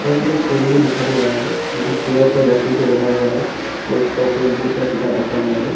एक टेबल भी दिखाई दे रहा है जो कि पूरा का पूरा लकड़ी से बना हुआ है और उसका उपर में बहुत सारा किताब रखा गया है।